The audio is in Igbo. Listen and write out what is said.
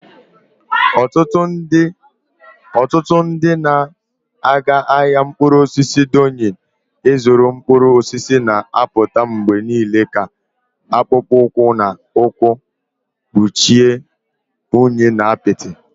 Ọtụtụ ndị na-aga ahịa mkpụrụ osisi Doyin ịzụrụ mkpụrụ osisi na-apụta mgbe niile ka akpụkpọ ụkwụ na ụkwụ kpuchie unyi na apịtị.